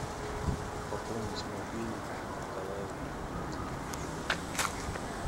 пополнить мобилу николаю владимировичу